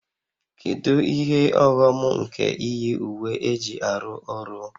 Kedu ihe ọghọm nke iyi uwe eji arụ ọrụ?